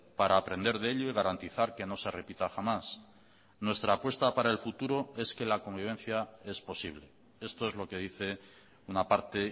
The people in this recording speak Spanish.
para aprender de ello y garantizar que no se repita jamás nuestra apuesta para el futuro es que la convivencia es posible esto es lo que dice una parte